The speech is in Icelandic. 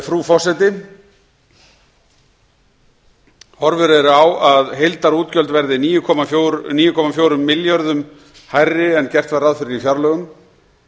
frú forseti horfur eru á að heildarútgjöld verði níu komma fjögur milljörðum hærri en gert var ráð fyrir í fjárlögum